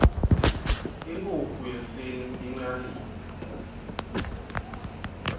inkukhu yesintfu icnile